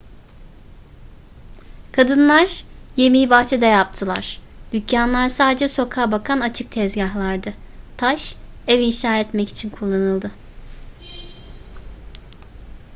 kadınlar yemeği bahçede yaptılar dükkanlar sadece sokağa bakan açık tezgahlardı taş ev inşa etmek için kullanıldı